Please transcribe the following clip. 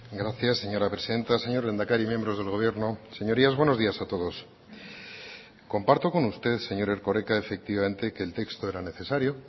gracias señora presidenta señor lehendakari miembros del gobierno señorías buenos días a todos comparto con usted señor erkoreka efectivamente que el texto era necesario